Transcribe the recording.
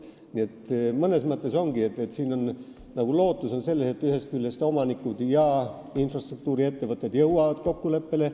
Nii et mõnes mõttes ongi lootus selles, et omanikud ja infrastruktuuriettevõtted jõuavad kokkuleppele.